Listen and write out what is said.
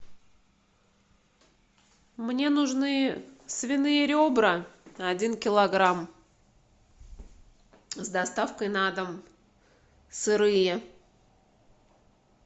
мне нужны свиные ребра один килограмм с доставкой на дом сырые